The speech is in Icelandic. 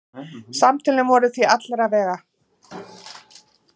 Samtölin voru því alla vega.